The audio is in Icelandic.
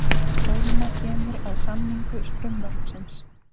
Ólína kemur að samningu frumvarpsins